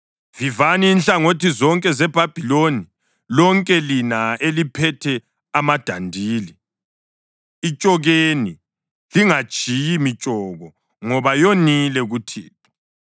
Vivani inhlangothi zonke zeBhabhiloni lonke lina eliphethe amadandili. Itshokeni! Lingatshiyi mitshoko ngoba yonile kuThixo.